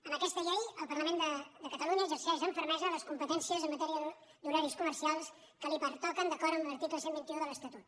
amb aquesta llei el parlament de catalunya exerceix amb fermesa les competències en matèria d’horaris comercials que li pertoquen d’acord amb l’article cent i vint un de l’estatut